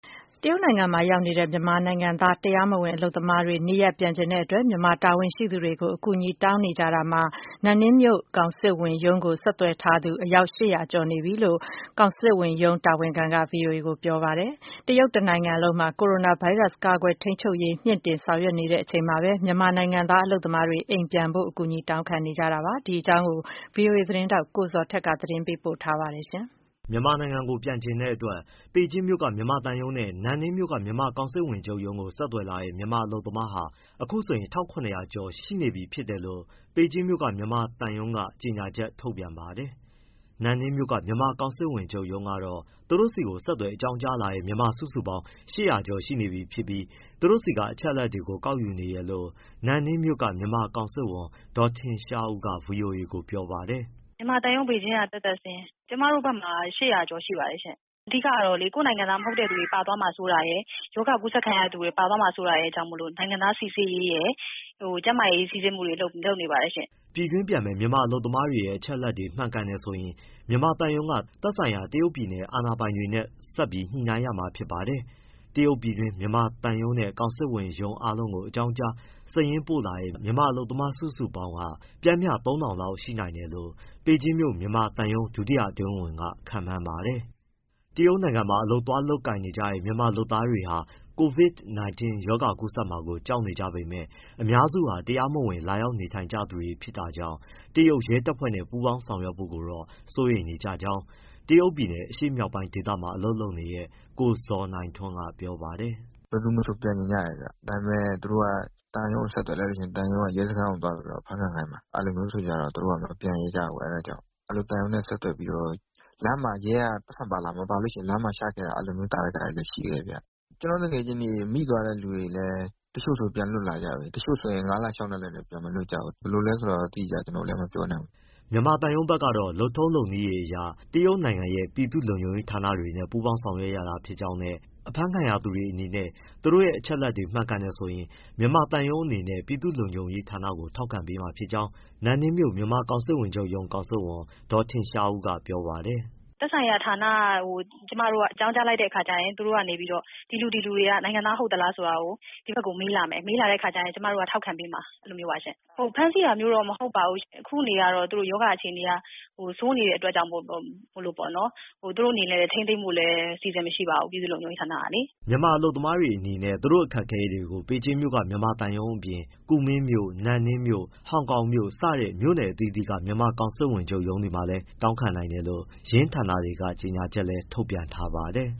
တရုတ်နိုင်ငံမှာရောက်နေတဲ့ မြန်မာနိုင်ငံသား တရားမဝင်အလုပ်သမားတွေ နေရ ပ်ပြန်ချင်တဲ့အတွက် မြန်မာ တာဝန်ရှိသူတွေကို အကူအညီတောင်းနေကြတာမှာ နန်နင်းမြို့ကောင်စစ်ရုံးကို ဆက်သွယ်ထားသူ ၈၀၀ ကျော်ရှိ ပြီလို့ ကောင်စစ်ရုံးတာဝန်ခံက ဗွီအိုအေကိုပြောပါတယ်။ တရုတ်တနိုင်ငံလုံးမှာ ကိုရိုနာဗိုင်းရပ်စ် ကာကွယ်ထိန်းချုပ်ေ ရး တိုးမြှင့် လုပ်ဆောင်နေချိန်မှာပဲ မြန်မာနိုင်ငံသား အလုပ်သမားတွေ အိမ်ပြန်ဖို့ အကူအညီတောင်းခံနေတာပါ။ ဒီအကြောင်း ဗွီအိုအေ သတင်းထောက် ကိုဇော်ထက် သတင်းပေးပို့ထားပါတယ်။ မြန်မာနိုင်ငံကို ပြန်ချင်တဲ့အတွက် ပေကျင်းမြို့က မြန်မာသံရုံးနဲ့ နန်နင်းမြို့က မြန်မာကောင်စစ်ဝန်ချုပ်ရုံးကို ဆက်သွယ်လာ တဲ့ မြန်မာအလုပ်သမားဟာ အခုဆိုရင် ၁၇၀၀ ကျော်ရှိ နေပြီဖြစ်လို့ ပေကျင်းက မြန်မာသံရုံးက ကြေညာချက် ထုတ် ပြန်ပါ တယ်။ နန်နင်းမြို့မြန်မာ ကောင်စစ်ဝန်ချုပ်ရုံးက တော့ သူတို့ဆီကို ဆက်သွယ် အ ကြောင်းကြားလာ တဲ့ မြန်မာစုစုပေါင်း ၈၀၀ ကျော် ရှိနေပြီဖြစ်ပြီး သူတို့ဆီက အချက်အလက်တွေကို ကောက်ယူနေ တယ်လို့ နန်နင်းမြို့က မြန်မာ ကောင်စစ်ဝန် ဒေါ်ထင်ရှား ဦး က ဗွီအိုအေကို ပြောပါတယ်။ “ မြန်မာသံရုံး ပေကျင်းက သက်သက်စာရင်း၊ ကျမတို့ဘက်မှာက ၈၀၀ ကျော်ရှိပါတယ်ရှင့်။ အ ဓိကတော့ ကိုယ့်နို င်ငံသား မဟုတ်တဲ့သူတွေ ပါသွားမှာရယ်၊ ရောဂါကူးစက်ခံရသူတွေ ပါသွားမှာ စိုးတာရယ်ကြောင့် နိုင်ငံသား စိစစ်ရေးရယ်၊ ကျန်းမာရေး စိစစ်မှုတွေ လုပ်နေပါတယ်ရှင့်။” ပြည်တွင်းပြန်မယ့် မြန်မာအလုပ်သမားတွေရဲ့ အချက်အလက်တွေ မှန်ကန်တယ်ဆိုရင် မြန်မာသံရုံးက သက်ဆို င်ရာ တရုတ်ပြည်နယ်အာဏာပိုင်တွေနဲ့ ဆက်ပြီးညှိနှိုင်းရ မှာ ဖြစ်ပါတယ်။ တရုတ်ပြည်တွင်းက မြန်မာသံရုံးနဲ့ ကောင်စစ်ဝန်ရုံး အားလုံးကို အကြောင်းကြား၊ စာရင်းပို့ထားတဲ့ မြန်မာ အလုပ်မား စုစုပေါင်းက ပျမ်းမျှ ၃၀၀၀ လောက် ရှိနိုင်တယ်လို့ ပေကျင်းမြို့ မြန်မာသံရုံး ဒုတိယ အတွင်းဝန် က ခန့်မှန်း ပါတယ်။ တရုတ်နိုင်ငံမှာ အလုပ်သွားရောက် လုပ်ကိုင်နေကြတဲ့ မြန်မာလုပ်သား တွေဟာ Covid19 ရောဂါပိုး ကူးစက်မှာကို ကြောက်နေကြ ပေမယ့် အများစုဟာ တရားမဝင် လာရောက်ကြသူ တွေ ဖြစ်တဲ့ အတွက် တရုတ်ရဲတပ်ဖွဲ့နဲ့ ပူးပေါင်းဆောင်ရွက်ဖို့တော့ စိုးရိမ် နေကြတယ်လို့ တရုတ်ပြည်နယ် အရှေ့မြောက်ပိုင်း ဒေသမှာ အလုပ်လုပ်နေတဲ့ ကိုဇော်နိုင်ထွန်းက ပြောပါတယ်။ “ ဘယ်သူမဆို ပြန်ချင်ကြတယ်ဗျ၊ ဒါပေမဲ့ သူတို့က သံရုံးကို ဆက်သွယ်လိုက်လို့ရှိရင် ရဲစခန်းကို သွားပြီးတော့ အဖမ်းခံ ခိုင်းမှာ၊ အဲဒါကြောင့် သူတို့က မပြန်ရဲကြဘူး။ သံရုံးနဲ့ဆက်သွယ်ပြီးတော့ လမ်းမှာရဲက ပိုက်ဆံ ပါလား၊ မပါရင် လမ်းမှာချခဲ့ တာ အဲဒီလို သာဓကတွေရှိတယ်။ ကျနော့သူငယ်ချင်းတွေ မိသွားတဲ့သူတွေဆိုရင်လည်း တချို့ဆို ပြန်လွတ်လာကြပြီ၊ တချို့ဆို ၅လ၊ ၆လ နဲ့လည်းပြန်မလွတ်။ ဘယ်လိုလည်းဆိုတာ ကျနော်လည်းတိတိကျကျ မပြောနိုင်ဘူး။” မြန်မာသံရုံးဘက် ကတော့ လုပ်ထုံးလုပ်နည်းအရ တရုတ်နိုင်ငံရဲ့၊ ပြည်သူ့လုံခြုံရေးဌာနတွေနဲ့ ပူးပေါင်းဆောင်ရွက် ရ တာ ဖြစ်ကြောင်းနဲ့ အဖမ်းခံရသူတွေ အနေနဲ့ သူတို့ရဲ့ အချက်အလက်တွေ မှန်ကန်တယ်ဆိုရင် မြန်မာသံရုံးအေ နနဲ့ တရုတ်ပြည်သူ့လုံခြုံရေးဌာနကို ထောက်ခံပေးမှာဖြစ်ကြောင်း နန်နင်းမြို့ မြန်မာကောင်စစ်ဝန်ချုပ်ရုံး၊ ကောင်စစ်ဝန် ဒေါ်ထင်ရှားဦးက ပြောပါတယ်။ “ သက်ဆိုင်ရာ ဌာနကို ကျမတို့က အကြောင်းကြားလိုက်တဲ့အခါကျရင် သူတို့ကနေပြီးတော့ ဒီလူ၊ ဒီလူတွေက နို င်ငံသား ဟုတ်သလားဆိုတာကို ဒီဘက် (မြန်မာသံရုံး) ကိုမေးလာမယ်။ မေးလာရင် ကျမတို့က ထောက်ခံပေးမှာ။ ဖမ်းဆီးတာမျိုးတော့ မဟုတ်ပါဘူးရှင့်၊ အခုအနေအရ သူတို့ ရောဂါအခြေအနေ အရ စိုးနေတဲ့ အတွက်ကြောင့်မို့လို့ သူတို့အနေနဲ့ ထိန်းသိမ်းဖို့လည်း အစီအစဉ်အရှိပါဘူး၊ ပြည်သူ့လုံခြုံရေး ဌာနကလေ။” မြန်မာအလုပ်သမားတွေအနေနဲ့ သူတို့ရဲ့အခက်အခဲတွေကို ပေကျင်းမြို့က မြန်မာသံရုံးအပြင် ကူမင်းမြို့၊ နန်နင်းမြို့၊ ဟောင်ကောင်မြို့ စတဲ့ မြို့အသီးသီးက မြန်မာကောင်စစ်ဝန်ချုပ်ရုံး တွေမှာလည်း တောင်းခံနိုင်တယ်လို့ ယင်းဌာနတွေက ကြေညာချက်လည်း ထုတ်ပြန်ထားပါတယ်